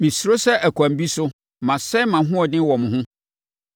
Mesuro sɛ, ɛkwan bi so, masɛe mʼahoɔden wɔ mo ho.